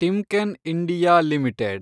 Timken India limited